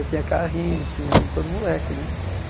Eu tinha carrinho, tinha como todo moleque né.